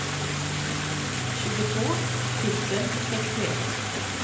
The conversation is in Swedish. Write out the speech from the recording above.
tjugotvå tusen sextioett